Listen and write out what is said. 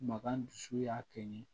Makan dusu y'a kɛ n ye